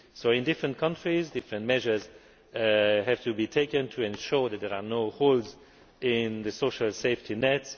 So in different countries, different measures have to be taken to ensure that there are no holes in the social safety net.